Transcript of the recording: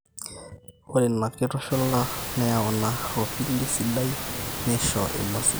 ore ina kitushula neyau ina ropilli sidai neisho emua sidai